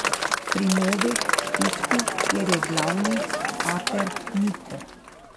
Pri Novi Štifti, kjer je glavni pater Niko.